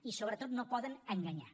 i sobretot no poden enganyar